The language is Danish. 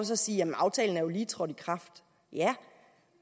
så siger at aftalen lige er trådt i kraft ja